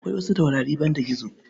Akwai wasu taurari banda gizo.